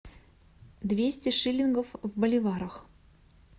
двести шиллингов в боливарах